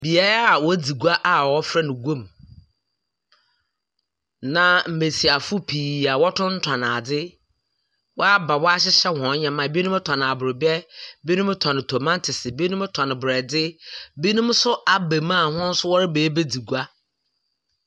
Beaeɛ a wɔdzi gua a wɔfrɛ no guam. Na mbesiafo pii a wɔtontɔn adze. Wɔaba wɔahyehyɛ hɔn nnyɛma. Binom tɔn abrobɛ. Binom tɔn tomatoes, binom tɔn borɔdze. Binom nso aba mu a hɔn nso reba abedzi gua.